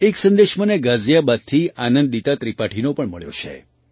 એક સંદેશ મને ગાઝિયાબાદથી આનંદિતા ત્રિપાઠીનો પણ મળ્યો છે